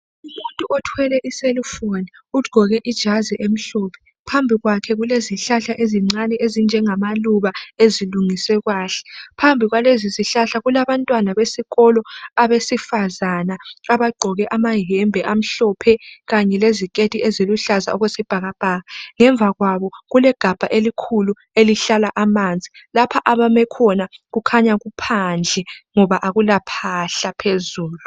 umuntu othwele i cell phone ugqoke ijazi emhlophe phambi kwakhe kulezihlahla ezincane ezinjengamaluba ezilungiswe kahle phambi kwalezi zihlahla kulabantwana besikolo abesifazana abagqoke amayembe amhlophe kanye leziketi eziluhlaza okwesibhakabhaka ngemva kwabo kulegabha elikhulu elihla amanzi lapha abame khona kukhanya kuphandle ngoba akula phahla phezulu